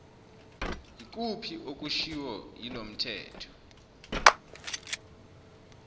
ikuphi okushiwo yilomthetho